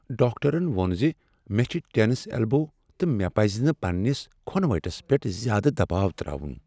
ڈاکٹرن ووٚن ز مےٚ چھےٚ ٹینس ایلبو تہٕ مےٚ پزِ نہٕ پننِس کھۄنہٕ وٹس پیٹھ زیادٕ دباو تراوُن ۔